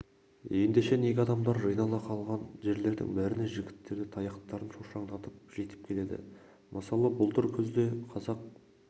ендеше неге адамдар жинала қалған жерлердің бәріне жігіттері таяқтарын шошаңдатып жетіп келеді мысалы былтыр күзде қазақ